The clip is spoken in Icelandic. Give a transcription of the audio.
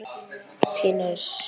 Þetta eru þær bestu í heimi!